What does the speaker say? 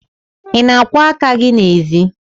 Ị na-akwọ aka gị n'ezi?